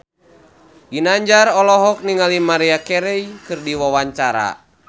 Ginanjar olohok ningali Maria Carey keur diwawancara